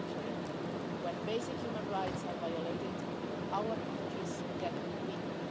On the contrary, when basic human rights are violated, our countries get weaker.